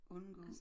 Undgå